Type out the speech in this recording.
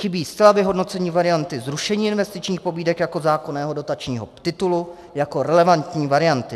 Chybí zcela vyhodnocení varianty zrušení investičních pobídek jako zákonného dotačního titulu, jako relevantní varianty.